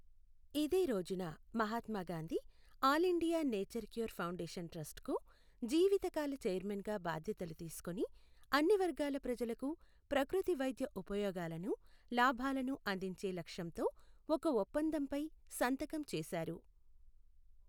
ఇదే రోజున Mahatma Gandhi all India nature cure foundation ట్రస్ట్కు జీవితకాల చైర్మన్గా బాధ్యతలు తీసుకుని, అన్ని వర్గాల ప్రజలకు ప్రకృతి వైద్య ఉపయోగాలను, లాభాలను అందించే లక్ష్యంతో ఒక ఒప్పందంపై సంతకం చేశారు.